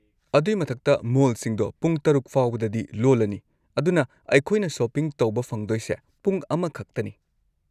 ꯑꯗꯨꯏ ꯃꯊꯛꯇ, ꯃꯣꯜꯁꯤꯡꯗꯣ ꯄꯨꯡ ꯶:꯰꯰ ꯐꯥꯎꯕꯗꯗꯤ ꯂꯣꯜꯂꯅꯤ, ꯑꯗꯨꯅ ꯑꯩꯈꯣꯏꯅ ꯁꯣꯄꯤꯡ ꯇꯧꯕ ꯐꯪꯗꯣꯏꯁꯦ ꯄꯨꯡ ꯑꯃꯈꯛꯇꯅꯤ꯫